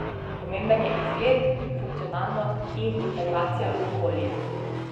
Pomemben je izgled, funkcionalnost in integracija v okolje.